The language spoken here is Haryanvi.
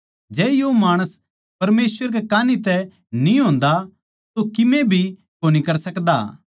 जै यो माणस परमेसवर कै कान्ही तै न्ही होन्दा तो किमे भी कोनी कर सकदा